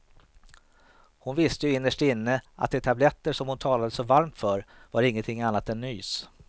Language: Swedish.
Hon visste ju innerst inne att de tabletter som hon talade så varmt för var ingenting annat än nys.